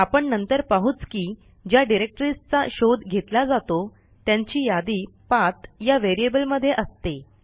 आपण नंतर पाहूच की ज्या डिरेक्टरीजचा शोध घेतला जातो त्यांची यादी पाठ या व्हेरिएबल मध्ये असते